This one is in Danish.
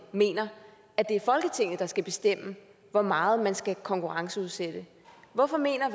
mener at det er folketinget der skal bestemme hvor meget man skal konkurrenceudsætte hvorfor mener